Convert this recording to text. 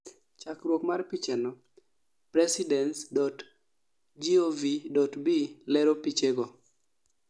chakruok mar pichano, PRESIDENCE.GOV.B lero pichego